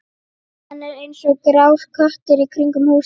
Hann er eins og grár köttur í kringum húsið.